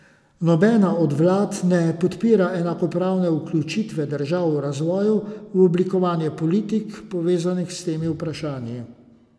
Nobena od vlad ne podpira enakopravne vključitve držav v razvoju v oblikovanje politik, povezanih s temi vprašanji.